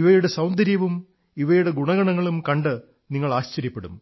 ഇവയുടെ സൌന്ദര്യവും ഇവയുടെ ഗുണഗണങ്ങളും കണ്ട് നിങ്ങൾ ആശ്ചര്യപ്പെടും